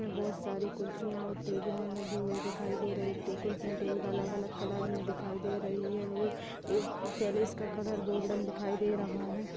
बोहोत सारी कुर्सियां और टेबले लगी हुई दिखाई दे रही है कुर्सियां टेबल अलग अलग कलर मे दिखाई दे रही है ओ पेलेस का कलर गोल्डन दिखाई दे रहा है।